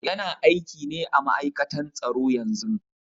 Yana aiki ne à ma'aikatan tsaro yanzu.